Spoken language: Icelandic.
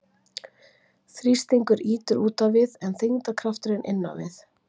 þrýstingur ýtir út á við en þyngdarkrafturinn inn á við